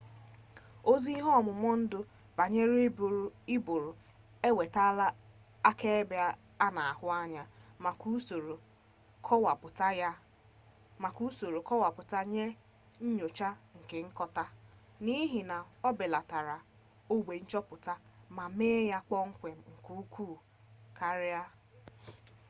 ozi ihe-omumundu-banyere-uburu ewetala akaebe ana ahu anya maka usoro kowaputa nye nyocha nke nkota nihi ya obelatala ogbe nchoputa ma mee ya kpom-kwem nke ukwu karia